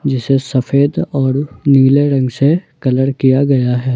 जिसे सफेद और नीले रंग से कलर किया गया है।